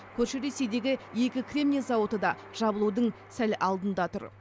көрші ресейдегі екі кремний зауыты да жабылудың сәл алдында тұр